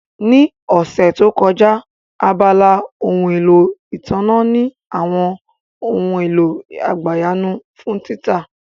Ní ọ̀sẹ̀ tó kọjá, abala ohun èlò ìtànná ní àwọn ohun èlò àgbàyanu fún títà